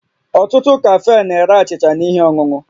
Ọtụtụ kafee na-ere achịcha na ihe ọṅụṅụ